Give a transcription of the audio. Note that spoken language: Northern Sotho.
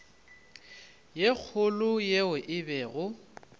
ye kgolo yeo e bego